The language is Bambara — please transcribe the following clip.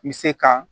N bɛ se ka